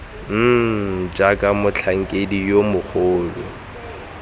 mmm jaaka motlhankedi yo mogolo